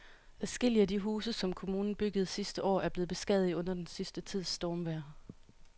Adskillige af de huse, som kommunen byggede sidste år, er blevet beskadiget under den sidste tids stormvejr.